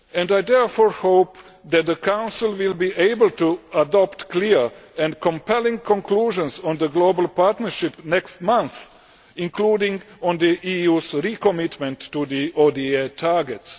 I therefore hope that the Council will be able to adopt clear and compelling conclusions on the Global Partnership next month including on the EU's recommitment to the ODA targets.